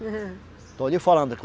estou lhe falando.